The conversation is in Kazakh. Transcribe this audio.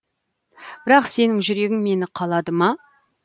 бірақ сенің жүрегің мені қалады ма